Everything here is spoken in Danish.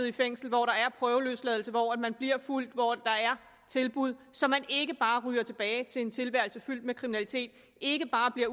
i fængsel hvor der er prøveløsladelse hvor man bliver fulgt hvor der er tilbud så man ikke bare ryger tilbage til en tilværelse fyldt med kriminalitet ikke bare bliver